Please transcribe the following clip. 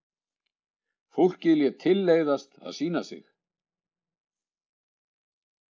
Fólkið lét tilleiðast að sýna þig.